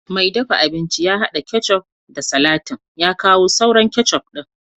mai dafa abinci ya hada ketchup da salatin ya kawo sauran ketchup din